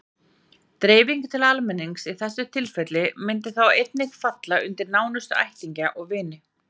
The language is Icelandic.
Dreifing til almennings í þessu tilfelli myndi þá einnig falla undir nánustu ættingja og vini.